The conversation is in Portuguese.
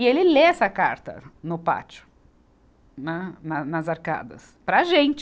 E ele lê essa carta no pátio, na, nas arcadas, para a gente.